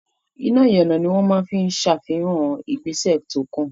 Iná ìyànà ni wọ́n máa ń fi ń ṣàfihàn ìgbésẹ̀ tó kàn.